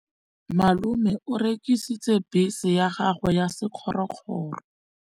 Malome o rekisitse bese ya gagwe ya sekgorokgoro.